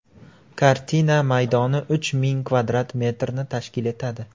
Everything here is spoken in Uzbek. Kartina maydoni uch ming kvadrat metrni tashkil etadi.